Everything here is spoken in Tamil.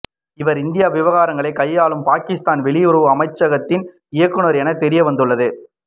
இவர் இந்திய விவகாரங்களை கையாளும் பாகிஸ்தான் வெளியுறவு அமைச்சகத்தின் இயக்குனர் என தெரிய வந்துள்ளது